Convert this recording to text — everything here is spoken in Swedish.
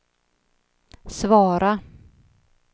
svara